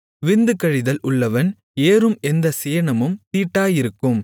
விந்து கழிதல் உள்ளவன் ஏறும் எந்தச் சேணமும் தீட்டாயிருக்கும்